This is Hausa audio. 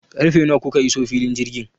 Karfe nawa kuka iso filin jirgin?